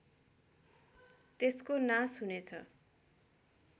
त्यसको नाश हुनेछ